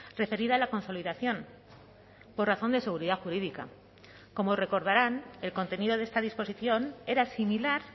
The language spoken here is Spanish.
referida a la consolidación por razón de seguridad jurídica como recordarán el contenido de esta disposición era similar